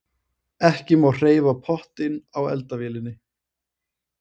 ekki má hreyfa pottinn á eldavélinni